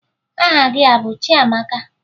Aha gị a bụ Chiamaka?